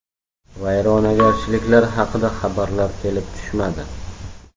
Vayronagarchiliklar haqida xabarlar kelib tushmadi.